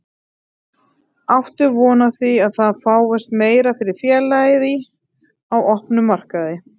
Áttu von á því að það fáist meira fyrir félagið í, á opnum markaði?